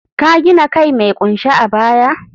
ka gina kai mai kunshe a baya?